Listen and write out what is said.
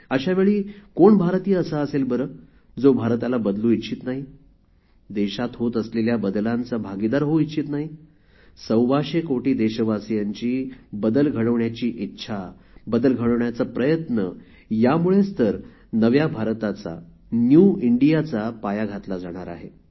अशा वेळी कोण भारतीय असा असेल बरेजो भारताला बदलू इच्छित नाही देशात होत असलेल्या बदलांचा भागीदार होऊ इच्छित नाही सव्वाशे कोटी देशवसियांची बदल घडवण्याची इच्छा बदल घडवण्याचा प्रयत्न यामुळेच तर नव्या भारताचा न्यू इंडियाचा पाया घातला जाणार आहे